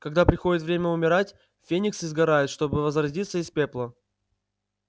когда приходит время умирать фениксы сгорают чтобы возродиться из пепла